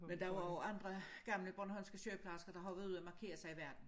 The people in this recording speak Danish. Men der var også andre gamle bornholmske sygeplejersker der har været ude og markere sig i verden